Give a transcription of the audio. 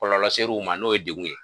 Kɔlɔlɔ ser'u ma n'o ye degun ye.